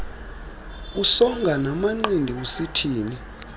usonga namanqindi usithini